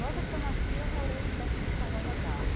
Logo que eu nasci eu morei perto do farol da Barra.